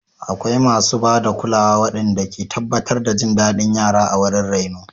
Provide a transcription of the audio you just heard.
Akwai masu ba da kulawa waɗanda ke tabbatar da jin daɗin yara a wurin raino.